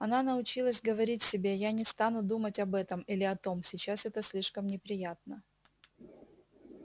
она научилась говорить себе я не стану думать об этом или о том сейчас это слишком неприятно